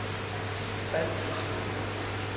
baltiske